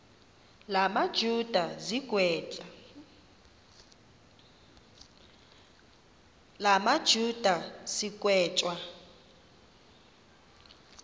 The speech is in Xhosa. la majuda sigwetywa